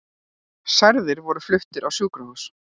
Særðir voru fluttir á sjúkrahús